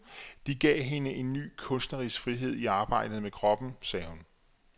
Det gav hende en ny kunstnerisk frihed i arbejdet med kroppen, sagde hun.